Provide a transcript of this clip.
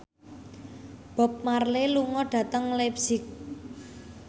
Bob Marley lunga dhateng leipzig